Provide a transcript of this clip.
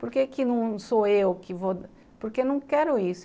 Por que que não sou eu que vou... Porque eu não quero isso.